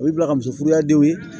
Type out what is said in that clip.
O ye bila ka muso furuya denw ye